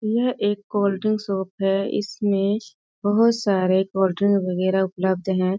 यह एक cold drink shop है इसमें बहुत सारे कोल्ड्रिंक वगेरा उपलब्ध हैं।